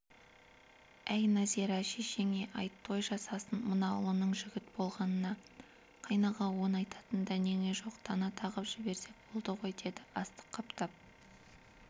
әй нәзира шешеңе айт той жасасын мына ұлының жігіт болғанына қайнаға-ау оны айтатын дәнеңе жоқ тана тағып жіберсек болды ғой деді астық қаптап